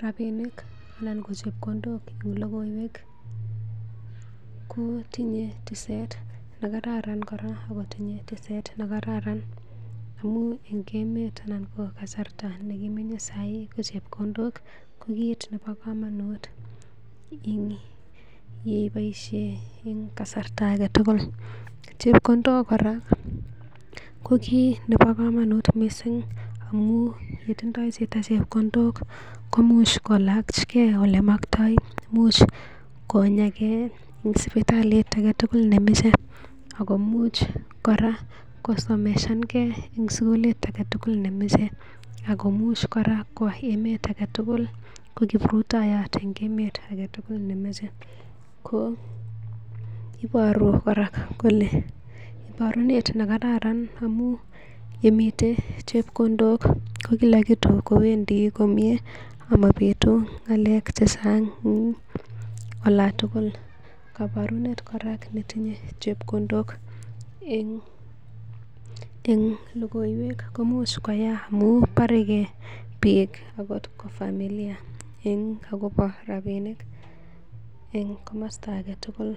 Rabinik anan ko chepkondok en logoiywek kotinye tiset ne kararan kora agot en teset ne kararan. Amun en emet anan ko kasarta nekimenye saii ko chepkondok ko kiit nebo komonut ing ye ibosie eng kasarta age tugul. Chepkondok kora ko kiit nebo komonut mising amun ye tindoi chito chepkondok komuch lachke olemoktoi, imuch konyagei en sipitalit age tugul nemoche, ago imuch kora kosomesan ge en sugulit age tugul nemoch. Ago imuch kora kwo emet age tugul ko kiprutoiyot en emet age tugul nemoche. Ko iporu kora kole iborunet ne karan amun yemite chepkondok ko kila kitu kowendi komyee ama bitu ng'alek che chang en olon tugul. Koburent kora netinye chepkondok en lokoiwek koimuch koya amun borege biik agot ko familia eng agobo rabiinik en komosta age tugul.